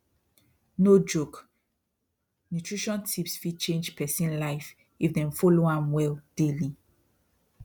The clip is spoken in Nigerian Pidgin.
no joke nutrition tips fit change person life if dem follow am well daily